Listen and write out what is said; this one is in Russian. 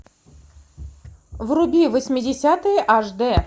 вруби восьмидесятые аш дэ